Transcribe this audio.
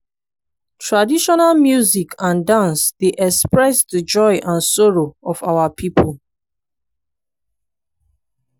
traditional music and dance dey express di joy and sorrow of our pipo.